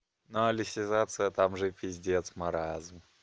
но алисизация там же пиздец маразм